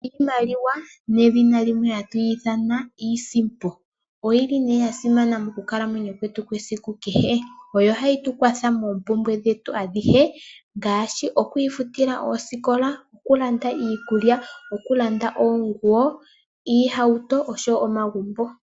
Iimaliwa nedhina limwe hatwiyithana iisimpo, oyili ne yasimana mokukalamwenyo kwetu kesiku kehe, oyo hayi tukwatha mopumbwe dhetu adhihe ngashi okwifutila oosikola okulanda iikulya , okulanda oonguwo, iihauto nosho wo omagumbo.